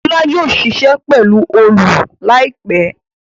Lọla yóò ṣiṣẹ pelu Òòlù láìpé.